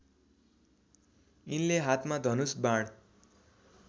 यिनले हातमा धनुष बाण